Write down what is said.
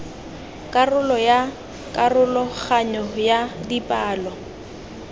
karolo ya karologanyo ya dipalo